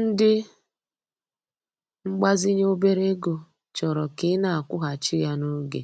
Ndị mgbazinye obere ego chọrọ ka ị na-akwụghachi ya n'oge,